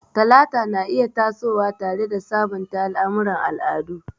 Talata na iya tasowa tare da sabunta al'amuran al'adu.